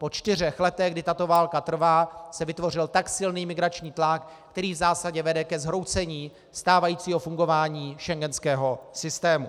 Po čtyřech letech, kdy tato válka trvá, se vytvořil tak silný migrační tlak, který v zásadě vede ke zhroucení stávajícího fungování schengenského systému.